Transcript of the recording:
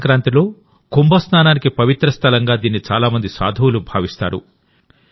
మాఘ సంక్రాంతిలో కుంభస్నానానికి పవిత్ర స్థలంగాదీన్నిచాలా మంది సాధువులు భావిస్తారు